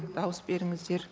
дауыс беріңіздер